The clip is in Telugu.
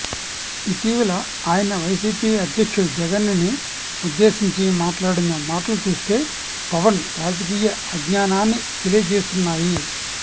ఇటీవల ఆయన వైసీపీ అధ్యక్షుడు జగన్ ని ఉద్దేశించి మాట్లాడిన మాటలు చూస్తే పవన్ రాజకీయ అజ్ఞానాన్ని తెలియజేస్తున్నాయి